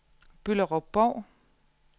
Bylderup-Bov